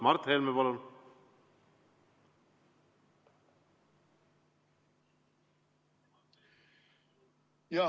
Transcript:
Mart Helme, palun!